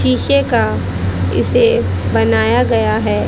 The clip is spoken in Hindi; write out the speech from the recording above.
शीशे का इसे बनाया गया है।